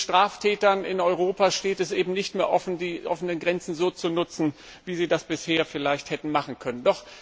Den Straftätern in Europa steht es eben nicht mehr frei, die offenen Grenzen so zu nutzen, wie sie das bisher vielleicht hätten machen können.